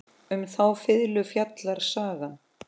Um þá fiðlu fjallar sagan.